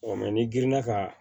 ni girinna ka